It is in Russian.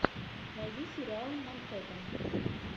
найди сериал манхэттен